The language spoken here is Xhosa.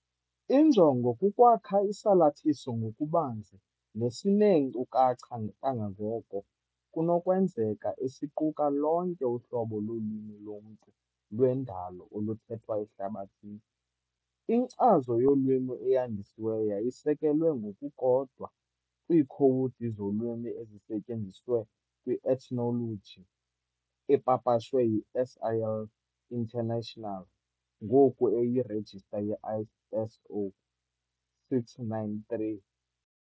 Injongo kukwakha isalathiso ngokubanzi nesineenkcukacha kangangoko kunokwenzeka esiquka lonke uhlobo lolwimi lomntu lwendalo oluthethwa ehlabathini. Inkcazo yolwimi eyandisiweyo yayisekelwe ngokukodwa kwiikhowudi zolwimi ezisetyenziswe kwi-Ethnologue epapashwe yi-SIL International, ngoku eyirejista ye-ISO 639-3 .